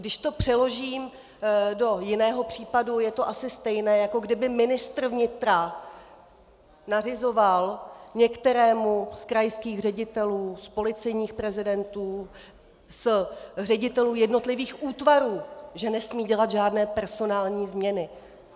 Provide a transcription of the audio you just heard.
Když to přeložím do jiného případu, je to asi stejné, jako kdyby ministr vnitra nařizoval některému z krajských ředitelů, z policejních prezidentů, z ředitelů jednotlivých útvarů, že nesmí udělat žádné personální změny.